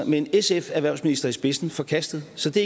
med en sf erhvervsminister i spidsen forkastede så det